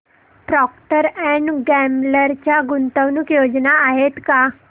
Procter and Gamble च्या गुंतवणूक योजना आहेत का